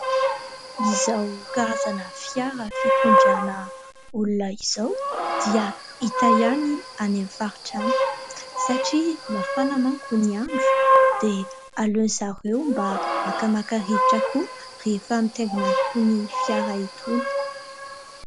Izao karazana fiara fitondrana olona izao dia hita ihany any amin'ny faritra any. Satria mafana manko ny andro dia aleon'izy ireo mba makamaka rivotra koa, rehefa mitaingina an'itony fiara itony.